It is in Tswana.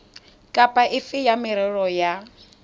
kapa efe ya merero ya